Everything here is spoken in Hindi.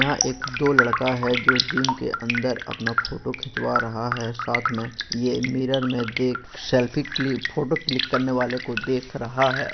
यहा एक दो लडका है जो जिम के अंदर अपना फोटो खिचवा रहा है साथ मे यह मिरर मे देख सेल्फी क्लि फोटो क्लिक करने वाले को देख रहा है।